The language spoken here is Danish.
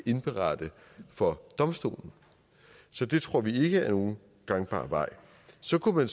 indberette for domstolen så det tror vi ikke er nogen gangbar vej så kunne